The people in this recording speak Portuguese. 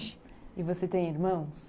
E você tem irmãos?